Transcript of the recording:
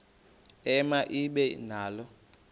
ema ibe nalo